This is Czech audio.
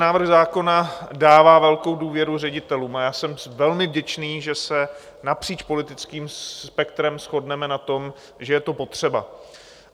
Návrh zákona dává velkou důvěru ředitelům a já jsem velmi vděčný, že se napříč politickým spektrem shodneme na tom, že je to potřeba.